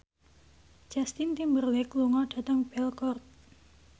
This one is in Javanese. Justin Timberlake lunga dhateng Belgorod